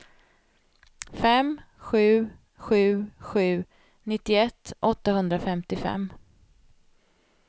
fem sju sju sju nittioett åttahundrafemtiofem